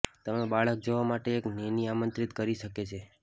તમે બાળક જોવા માટે એક નેની આમંત્રિત કરી શકે છે